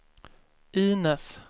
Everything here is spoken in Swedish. Inez